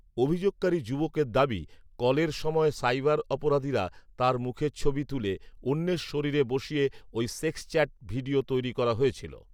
অভিযোগকারী যুবকের দাবি, কলের সময় সাইবার অপরাধীরা তাঁর মুখের ছবি তুলে, অন্যের শরীরে বসিয়ে ওই সেক্স চ্যাট ভিডিও তৈরি করা হয়েছিল